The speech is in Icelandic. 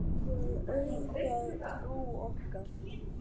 Þú hefur auðgað trú okkar.